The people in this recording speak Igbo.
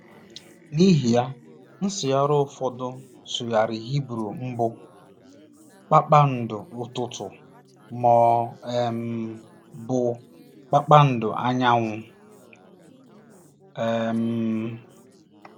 N’ihi ya, nsụgharị ụfọdụ sụgharịrị Hibru mbụ “kpakpando ụtụtụ” ma ọ um bụ “ Kpakpando Anyanwụ um .”